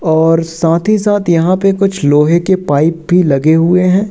और साथ ही साथ यहां पे कुछ लोहे के पाइप भी लगे हुए हैं।